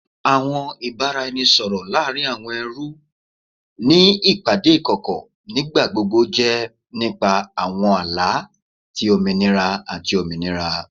Awọn ibaraẹnisọrọ laarin awọn ẹrú ni awọn ipade ikọkọ nigbagbogbo jẹ nipa awọn ala ti ominira ati ominira